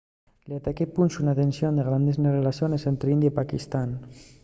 l’ataque punxo una tensión grande nes rellaciones ente india y paquistán